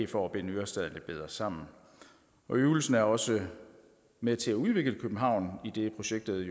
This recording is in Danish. for at binde ørestaden lidt bedre sammen øvelsen er også med til at udvikle københavn idet projektet